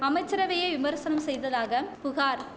அமைச்சரவையை விமர்சனம் செய்ததாக புகார்